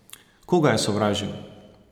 Koga je sovražil?